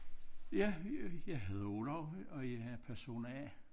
Ja Jeg hedder Olav og jeg er person A